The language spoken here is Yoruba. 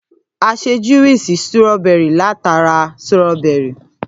À sẹ júwúisì súròbẹri làtá rà súróbẹri.